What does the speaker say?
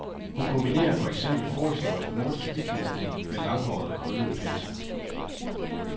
Hun kombinerer for eksempel forhistorisk nordisk vikingestil med langhårede, krøllede pelse.